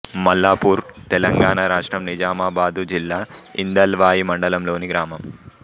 మల్లాపూర్ తెలంగాణ రాష్ట్రం నిజామాబాద్ జిల్లా ఇందల్వాయి మండలంలోని గ్రామం